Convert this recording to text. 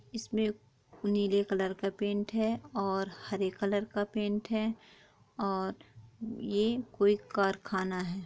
इसमे नीले कलर का पैंट है और हरे कलर का पैंट है और ये कोई कारखाना है।